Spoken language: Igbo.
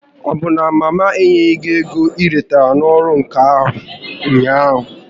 Ọbụ na mama enyeghị gị ego m retara n'ọrụ ǹkà ahụ ụnyaahụ?